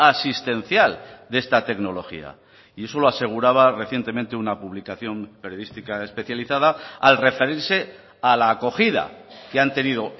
asistencial de esta tecnología y eso lo aseguraba recientemente una publicación periodística especializada al referirse a la acogida que han tenido